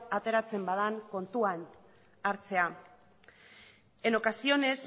ateratzen bada kontuan hartzea en ocasiones